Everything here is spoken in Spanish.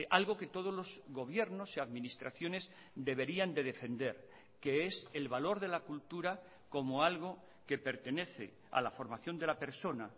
algo que todos los gobiernos y administraciones deberían de defender que es el valor de la cultura como algo que pertenece a la formación de la persona